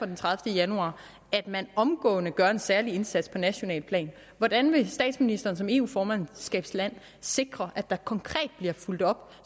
den tredivete januar at man omgående gør en særlig indsats på nationalt plan hvordan vil statsministeren som eu formandskabsland sikre at der konkret bliver fulgt op